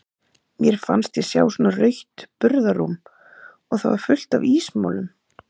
Mér fannst ég sjá svona rautt burðarrúm og það var fullt af ísmolum.